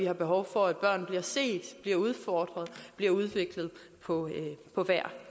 er behov for at børn bliver set bliver udfordret bliver udviklet på